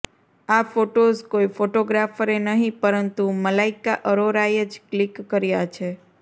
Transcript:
આ ફોટોઝ કોઈ ફોટોગ્રાફરે નહીં પરંતુ મલાઈકા અરોરાએ જ ક્લિક કર્યા છે